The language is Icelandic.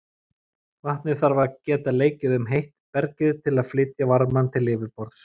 Vatn þarf að geta leikið um heitt bergið til að flytja varmann til yfirborðs.